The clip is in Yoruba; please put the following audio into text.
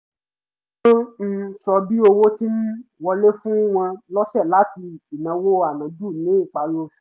wọ́n ń ṣọ́ bí owó ti ń wọlé fún wọn lọ́sẹ̀ láti ìnáwó ànájù ní ìparí oṣù